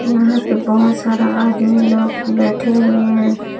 यहां पर बहुत सारा आदमी लोग बैठे हुए हैं।